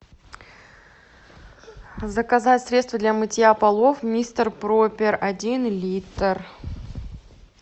заказать средство для мытья полов мистер пропер один литр